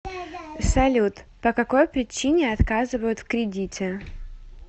салют по какой причине отказывают в кредите